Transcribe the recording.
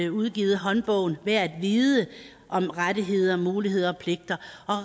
udgivet håndbogen værd at vide om rettigheder muligheder og pligter